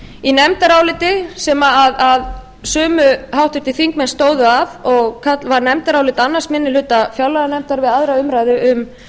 í nefndaráliti sem sumir háttvirtir þingmenn stóðu að og kallað var nefndarálit annar minni hluta fjárlaganefndar við aðra umræðu um